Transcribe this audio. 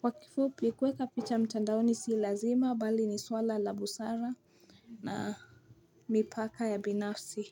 Kwa kifupi, kuweka picha mtandaoni si lazima bali ni swala la busara na mipaka ya binafsi.